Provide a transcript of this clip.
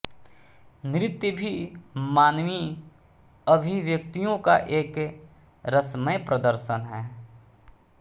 नृत्य भी मानवीय अभिव्यक्तियों का एक रसमय प्रदर्शन है